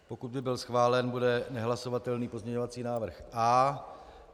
Pokud by byl schválen, bude nehlasovatelný pozměňovací návrh A.